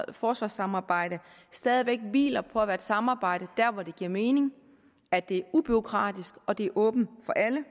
forsvarssamarbejde stadig væk hviler på at være et samarbejde der hvor det giver mening at det er ubureaukratisk og at det er åbent for alle